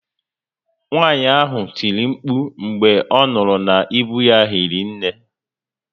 Nwaànyị ahụ tiri mkpu mgbe ọ nụrụ na íbú ya hiri nné